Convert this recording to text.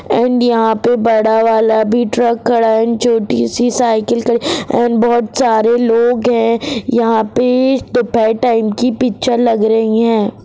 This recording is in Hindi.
एण्ड यहा पे बड़ा वाला भी ट्रक खड़ा है एण्ड छोटी सी साइकिल खड़ी एण्ड बहुत सारे लोग है यहा पे दोपहर टाइम की पिक्चर लग रही है।